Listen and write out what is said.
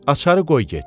Açaı qoy get.